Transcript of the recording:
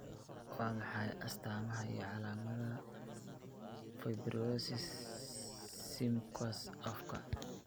Waa maxay astaamaha iyo calaamadaha fibrosis submucous afka?